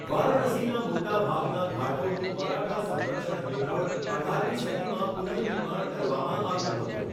વારાણસીના મોટાભાગના ઘાટોનું મરાઠા સંરક્ષણ હેઠળ અઢારમી સદીમાં પુનઃનિર્માણ કરવામાં આવ્યું હતું.